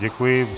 Děkuji.